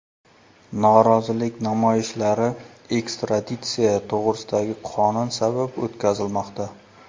Norozilik namoyishlari ekstraditsiya to‘g‘risidagi qonun sabab o‘tkazilmoqda.